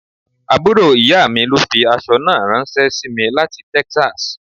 Àbúrò ìyá mi ló fi aṣọ náà ranse sí mi láti Texas.